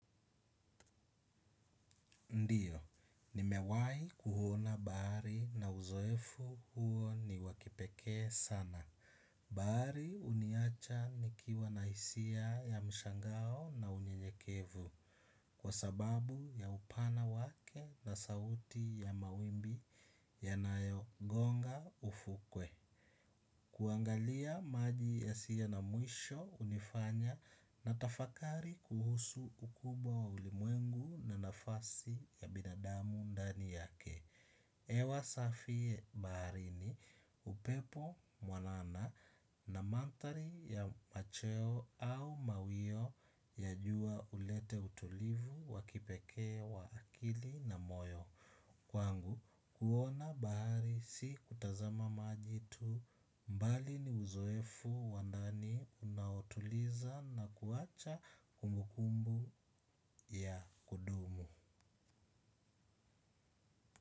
Ndiyo, nimewai kuona bahari na uzoefu huo ni wakipekee sana. Baari uniacha nikiwa na isia ya mshangao na unye nyekevu. Kwa sababu ya upana wake na sauti ya mawimbi yanayo gonga ufukwe. Kuangalia maji ya siye na muisho unifanya na tafakari kuhusu ukubwa wa ulimwengu na nafasi ya binadamu ndani yake. Hewa safi bahari ni upepo mwanana na manthari ya macho au mawio ya jua uleta utulivu wa kipeke wa akili na moyo. Kwangu kuona bahari si kutazama maji tu mbali ni uzoefu wa ndani unaotuliza na kuacha kumukumbu ya kudumu.